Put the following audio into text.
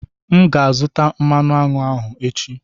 M ga-azụta mmanụ aṅụ ahụ echi.